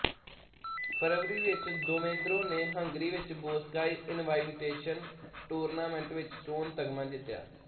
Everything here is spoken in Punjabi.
ਫਰਵਰੀ ਵਿੱਚ ਦੇਵੇਂਦਰੋ ਨੇ ਹੰਗਰੀ ਵਿੱਚ ਬੋਸਕਾਈ ਇਨਵਾਈਟੇਸ਼ਨ ਟੂਰਨਾਮੈਂਟ ਵਿੱਚ ਸੋਨ ਤਮਗਾ ਜਿੱਤਿਆ